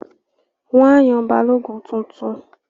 Wọ́n á yan Balógun tuntun